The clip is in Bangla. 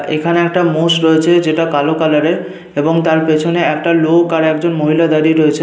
এখানে একটা মোষ রয়েছে যেটা কালো কালার এর এবং তার পেছনে একটা লোক আর একজন মহিলা দাঁড়িয়ে রয়েছেন।